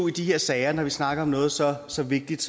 i de her sager når vi snakker om noget så så vigtigt